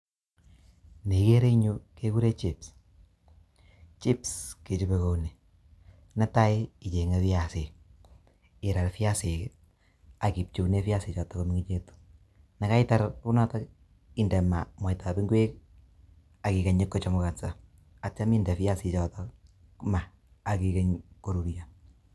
Ni igere engyu kegure chips. Chips kechopei kouni, netai ichenye viasik, irar viasik ak iopcheune viasichotok komengechitu. Nekaitar kou notok, inde maa mwaitab ingwek ak igeny kochemukonso, atiminde viasichotok maa akigeny korurio.